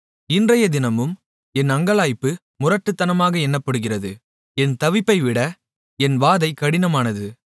இன்றையதினமும் என் அங்கலாய்ப்பு முரட்டுத்தனமாக எண்ணப்படுகிறது என் தவிப்பைவிட என் வாதை கடினமானது